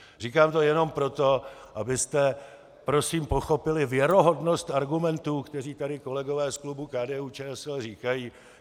Říkám to jenom proto, abyste prosím pochopili věrohodnost argumentů, které tady kolegové z klubu KDU-ČSL říkají.